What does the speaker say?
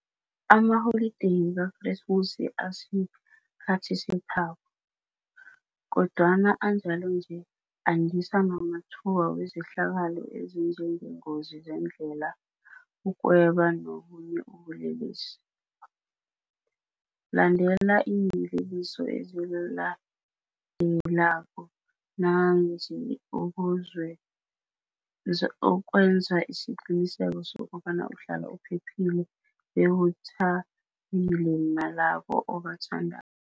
Amaholideyi kaKresmusi asikhathi sethabo. Kodwana anjalo nje andisa namathuba wezehlakalo ezinjengeengozi zendlela, ukweba nobunye ubule lesi. Landela iiyeleliso ezilandelako nanzi ukwe nza isiqiniseko sokobana uhlala uphephile bewutha bile nalabo obathanda